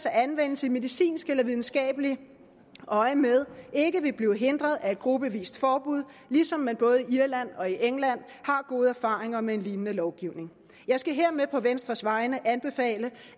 at anvendelse i medicinsk eller videnskabeligt øjemed ikke vil blive hindret af gruppevise forbud ligesom man både i irland og i england har gode erfaringer med en lignende lovgivning jeg skal hermed på venstres vegne anbefale